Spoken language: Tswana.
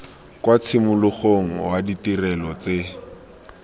kwa tshimologong wa ditirelo tse